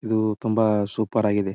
ಇದು ತುಂಬಾ ಸೂಪರ್ ಆಗಿದೆ.